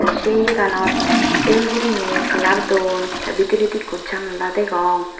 se yea ganot el guriney colour don tey bidiredi ekko janala degong.